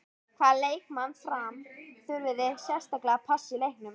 Hvaða leikmann Fram þurfið þið sérstaklega að passa í leiknum?